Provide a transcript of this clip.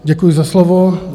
Děkuji za slovo.